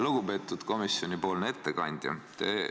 Lugupeetud komisjonipoolne ettekandja!